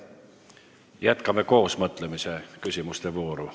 Jätkame koosmõtlemise ja küsimuste vooru.